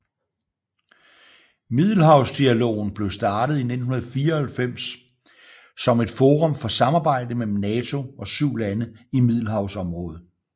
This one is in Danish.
Middelhavsdialogen blev startet i 1994 som et forum for samarbejde mellem NATO og syv lande i Middelhavsområdet